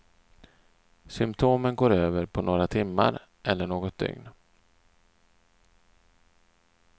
Symtomen går över på några timmar eller något dygn.